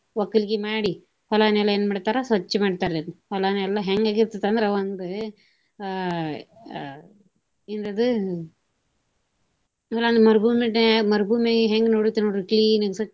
ವಕ್ಕಲಿಗಿ ಮಾಡಿ ಹೊಲನೆಲ್ಲಾ ಏನ ಮಾಡ್ತಾರ ಸ್ವಚ್ಛ ಮಾಡ್ತಾರಿ ಹೊಲನೆಲ್ಲಾ. ಹೆಂಗ ಆಗಿರ್ತೆತಿ ಅಂದ್ರ ಒಂದ ಆಹ್ ಏನ ಅದು ಮರಭೂಮಿ ಹೆಂಗ ನೋಡಿರ್ತೆವ ನೋಡ್ರಿ clean ಗೆ ಸ್ವಚ್ಛ.